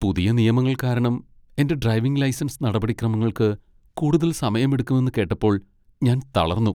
പുതിയ നിയമങ്ങൾ കാരണം എന്റെ ഡ്രൈവിംഗ് ലൈസൻസ് നടപടിക്രമങ്ങൾക്ക് കൂടുതൽ സമയമെടുക്കുമെന്ന് കേട്ടപ്പോ ഞാൻ തളർന്നു.